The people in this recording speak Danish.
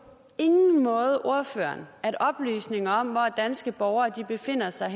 ingen måde ordføreren at oplysninger om hvor danske borgere befinder sig